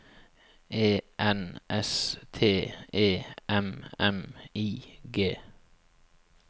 E N S T E M M I G